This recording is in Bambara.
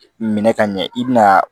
Minɛ ka ɲɛ i bina